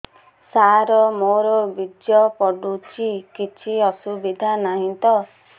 ସାର ମୋର ବୀର୍ଯ୍ୟ ପଡୁଛି କିଛି ଅସୁବିଧା ନାହିଁ ତ